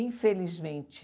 Infelizmente.